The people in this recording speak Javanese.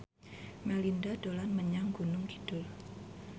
Melinda dolan menyang Gunung Kidul